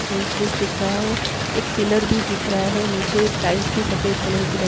main switch दिख रहा है एक पिलर भी दिख रहा है नीचे टाइल्स भी सफ़ेद कलर की ल--